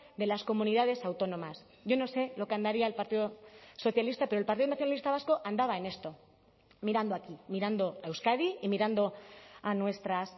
de las comunidades autónomas yo no sé lo que andaría el partido socialista pero el partido nacionalista vasco andaba en esto mirando aquí mirando a euskadi y mirando a nuestras